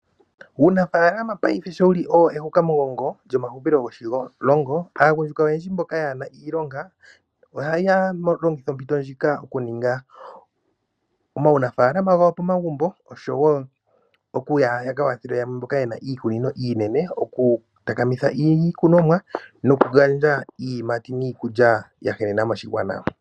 Uunafaalama paife sho owo wu li ehukamugongo lyomahupilo goshilongo, aagundjuka oyendji mboka kaaye na iilonga ohaya longitha ompito ndjika okuninga omaunafaalama gawo pomagumbo nosho wo okuninga ya ka kwathele yamwe mboka ye na iikunino uunene oku ka takamitha iikunomwa nokugandja iiyimati niikulya ya henena moshigwana.